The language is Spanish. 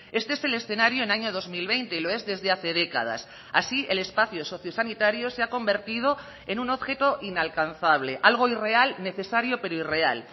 este es el escenario en año dos mil veinte y lo es desde hace décadas así el espacio sociosanitario se ha convertido en un objeto inalcanzable algo irreal necesario pero irreal